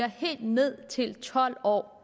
helt ned til tolv år